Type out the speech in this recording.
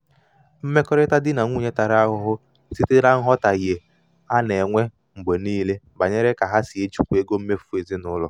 mmekọrịta di na nwunye tara ahụhụ site na nghọtahie a na-enwe mgbe a na-enwe mgbe niile banyere ka ha si ejikwa ego mmefu ezinụlọ.